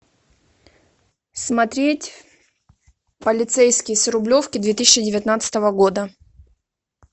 смотреть полицейский с рублевки две тысячи девятнадцатого года